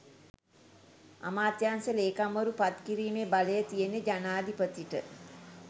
අමාත්‍යංශ ලේකම්වරු පත් කිරීමේ බලය තියෙන්නෙ ජනාධිපතිට.